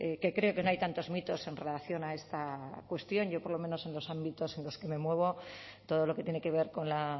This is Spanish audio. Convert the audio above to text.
que creo que no hay tantos mitos en relación a esta cuestión yo por lo menos en los ámbitos en los que me muevo todo lo que tiene que ver con la